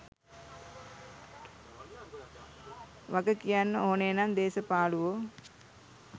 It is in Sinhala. වග කියන්න ඕනේ නම් දේස පාලුවෝ.